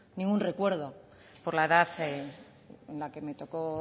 ningún recuerdo por la edad en la que me tocó